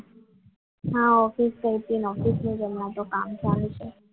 આ ઓફિસ ગઈ હતી હમણાં ઓફિસમાં તો હમણાં કામ ચાલે છે